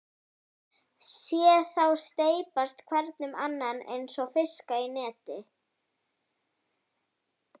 Sé þá steypast hvern um annan einsog fiska í neti.